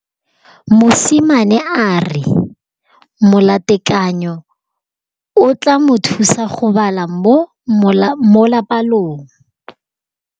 Mosimane a re molatekanyô o tla mo thusa go bala mo molapalong.